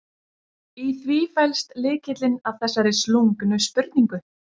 Í því felst lykillinn að þessari slungnu spurningu.